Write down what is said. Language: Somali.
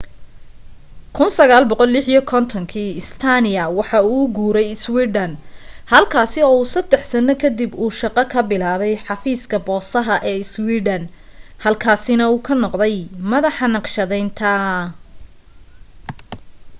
1956dii stania wuxuu u guuray iswiidhan halkaasi oo uu saddex sanno kadib uu shaqo ka bilaabay xafiiska boosaha ee iswiidhan halkaasina uu ka noqday madaxa naqshadaynta